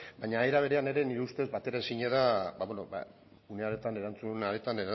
baina era berean ere nire ustez bateraezina da ba beno une hartan erantzun hartan